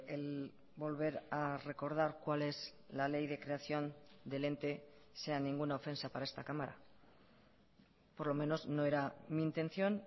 el volver a recordar cual es la ley de creación del ente sea ninguna ofensa para esta cámara por lo menos no era mi intención